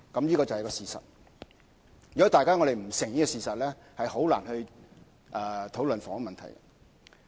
這就是事實，如果大家不承認，便難以討論房屋問題。